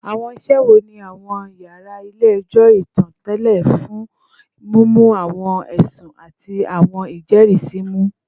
Awọn iṣe wo ni awọn yara ile-ẹjọ itan tẹle fun mimu awọn ẹsun ati awọn ijẹrisi mu?